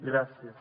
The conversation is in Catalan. gràcies